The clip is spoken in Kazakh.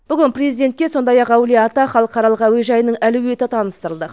бүгін президентке сондай ақ әулие ата халықаралық әуежайының әлеуеті таныстырылды